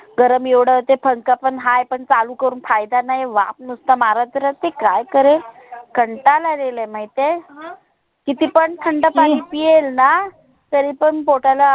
गरम एवढं होते. पंखा पण हाय पण चालू करून फायदा नाय. वाफ नुसता मारत राहते काय कारेल? कंटाल आलेलय माहिताय? अं किती पण थंड नाही पीएल ना तरी पण पोटाला